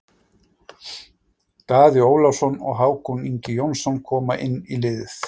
Daði Ólafsson og Hákon Ingi Jónsson koma inn í liðið.